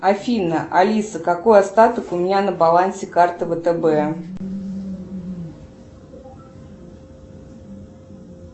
афина алиса какой остаток у меня на балансе карты втб